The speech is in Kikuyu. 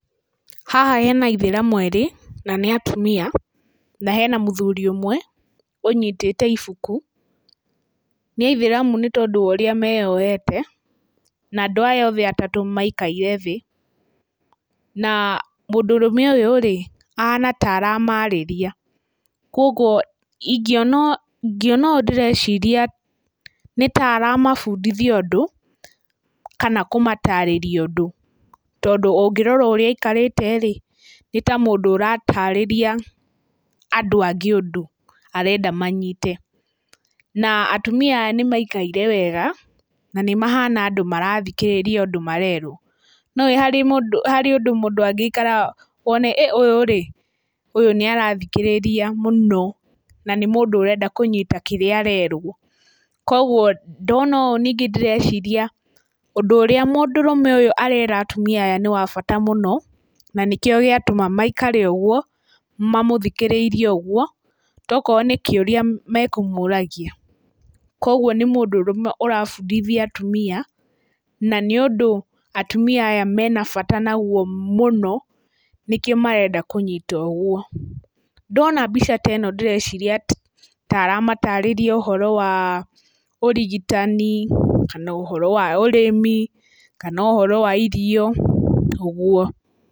Haha hena ithĩramu erĩ na nĩ atumia, na hena mũthuri ũmwe ũnyitĩte ibuku. Nĩ aithĩramu nĩ tondũ wa ũrĩa meyohete na andũ aya othe atatũ maikarĩte thĩ, na mũndũrũme ũyũ rĩ ahana ta aramarĩria. Koguo ingĩona ũũ ndĩreciria nĩtaramabundithia ũndũ kana kũmatarĩria ũndũ, tondũ ũngĩrora ũrĩa aikarĩte rĩ nĩ ta mũndũ ũratarĩria andũ angĩ ũndũ arenda manyite. Na atumia aya nĩmaikaire wega, na nĩ mahana andũ marathikĩrĩria ũndũ marerwo. Nĩũwĩ nĩ harĩ ũndũ mũndũ angĩikara wone ĩ, ũyũ rĩ nĩ arathikĩrĩria mũno na nĩ mũndũ ũrenda kũnyita kĩrĩa arerwo. Koguo ndona ũũ ningĩ ndĩreciria ũndũ ũrĩa mũndũrũme ũyũ arera atumia aya nĩ wa bata mũno na nĩkĩo gĩatũma maikare ũguo mamũthikĩrĩirie ũguo tokorwo nĩ kĩũria mekũmũragia. Koguo nĩ mũndũrũme ũrabundithia atumia, na nĩ ũndũ atumia aya mena bata naguo mũno, nĩkĩo marenda kũnyita ũguo. Ndona mbica ta ĩno ndĩreciria ta aramatarĩria ũhoro wa ũrigitani, kana ũhoro wa ũrĩmi, kana ũhoro wa irio ũguo.